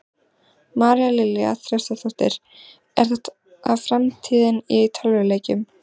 María Lilja Þrastardóttir: Er þetta framtíðin í tölvuleikjum?